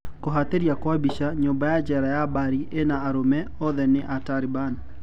Kuhatiria kwa bica, nyumba ya jera ya Bari ena arũme, oothe ni aaTaliban.